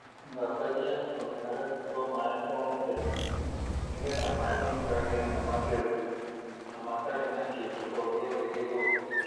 Thambagia tũmĩharatĩ twa maaĩ o mũthenya nĩgetha maaĩ maikarage me matheru na mate na kĩndũ o gĩothe gĩthũku.